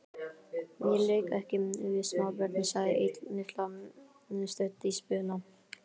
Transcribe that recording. Ég leik ekki við smábörn sagði Lilla stutt í spuna.